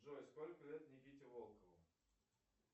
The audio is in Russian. джой сколько лет никите волкову